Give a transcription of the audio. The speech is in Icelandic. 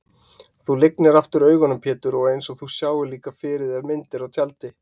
Þú lygnir aftur augunum Pétur einsog þú sjáir líka fyrir þér myndir á tjaldi.